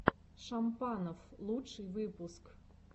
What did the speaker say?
шампанов лучший выпуск